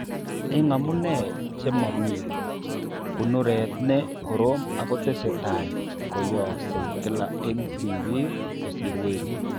Eng' amune che momii, kunuret ne korom ako tesetai ko yaaksei kila eng' tibik kosir werik.